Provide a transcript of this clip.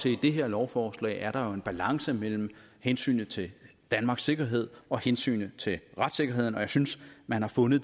i det her lovforslag er der jo en balance mellem hensynet til danmarks sikkerhed og hensynet til retssikkerheden og jeg synes man har fundet